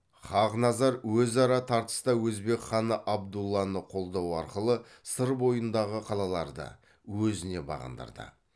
хақназар өзара тартыста өзбек ханы абдулланы қолдау арқылы сыр бойындағы қалаларды өзіне бағындырды